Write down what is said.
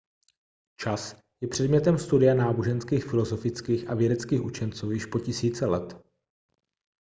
čas je předmětem studia náboženských filozofických a vědeckých učenců již po tisíce let